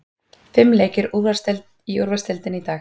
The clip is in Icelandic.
Fimm leikir í úrvalsdeildinni í dag